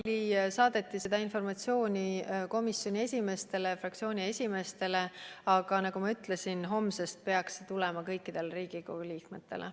Minu teada saadeti seda informatsiooni komisjonide esimeestele ja fraktsioonide esimeestele, aga nagu ma ütlesin, homsest peaks see tulema kõikidele Riigikogu liikmetele.